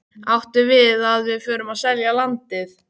Áttu við að við förum að selja landið?